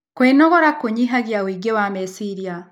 Kwĩnogora kũnyĩhagĩa ũĩngĩ wa mechĩrĩa